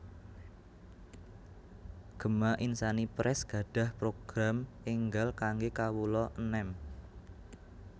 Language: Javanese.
Gema Insani Press gadhah program enggal kangge kawula enem